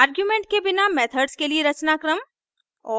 argument के बिना methods के लिए रचनाक्रम